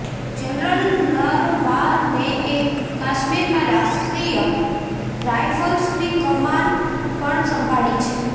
general નરવાનેએ કાશ્મીરમાં રાષ્ટ્રીય રાઈફલ્સની કમાન પણ સંભાળી છે